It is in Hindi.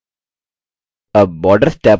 tab borders टैब पर click करें